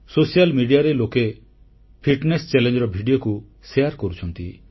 ସାମାଜିକ ଗଣମାଧ୍ୟମରେ ଲୋକେ ଫିଟନେସ ଚାଲେଞ୍ଜର ଭିଡିଓଗୁଡ଼ିକୁ ବାଣ୍ଟୁଛନ୍ତି